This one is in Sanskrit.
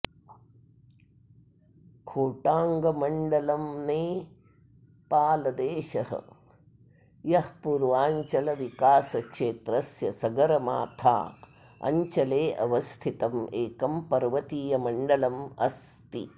खोटाङमण्डलम्नेपालदेशस्य पुर्वाञ्चलविकासक्षेत्रस्य सगरमाथा अञ्चले अवस्थितं एकं पर्वतीय मण्डलं अस्ति